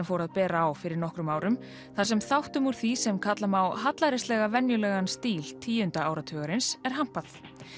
fór að bera á fyrir nokkrum árum þar sem þáttum úr því sem kalla má hallærislega venjulegan stíl tíunda áratugarins er hampað